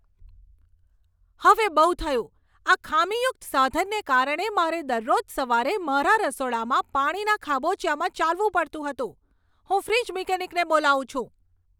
હવે બહુ થયું, આ ખામીયુક્ત સાધનને કારણે મારે દરરોજ સવારે મારા રસોડામાં પાણીના ખાબોચિયામાં ચાલવું પડતું હતું! હું ફ્રિજ મિકેનિકને બોલાવું છું.